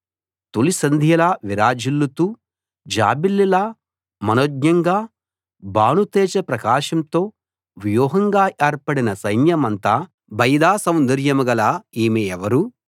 తొలిసంధ్యలా విరాజిల్లుతూ జాబిల్లిలా మనోజ్ఞంగా భానుతేజ ప్రకాశంతో వ్యూహంగా ఏర్పడిన సైన్యమంత భయద సౌందర్యం గల ఈమె ఎవరు